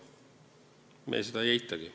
Me seda ei eitagi.